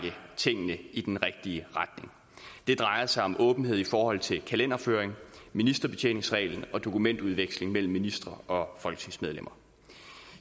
tingene i den rigtige retning det drejer sig om åbenhed i forhold til kalenderføring ministerbetjeningsreglen og dokumentudveksling mellem ministre og folketingsmedlemmer